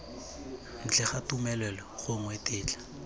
ntle ga tumelelo gongwe tetla